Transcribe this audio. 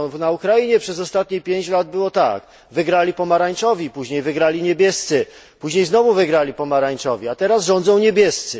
Na Ukrainie przez ostatnich 5 lat było tak wygrali pomarańczowi, później niebiescy, później znowu wygrali pomarańczowi, a teraz rządzą niebiescy.